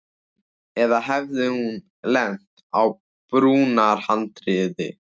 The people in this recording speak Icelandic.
Eða hafði hún lent á brúarhandriði.